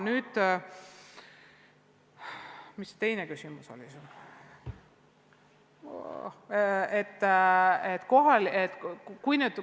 Nii, mis see teine küsimus sul oli?